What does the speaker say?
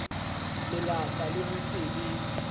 melata le ho se be